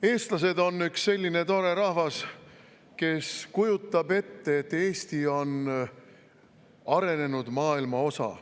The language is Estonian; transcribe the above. Eestlased on üks selline tore rahvas, kes kujutab ette, et Eesti on arenenud maailma osa.